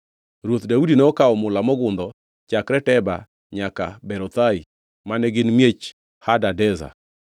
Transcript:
Ruoth Daudi nokawo mula mogundho chakre Teba nyaka Berothai mane gin miech Hadadezer.